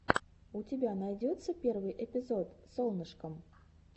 у тебя найдется первый эпизод солнышкам